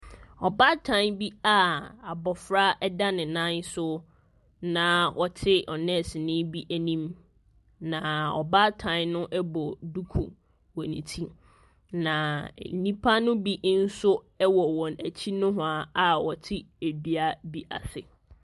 Ɔbaatan bi a abɔfra da ne nan so, na ɔte ɔ nɛɛseni bi anim. Na ɔbaatan no bɔ dukuwɔ ne ti, na nnipa no bi nso wɔ wɔn akyi nohoa a wɔte dua bi ase.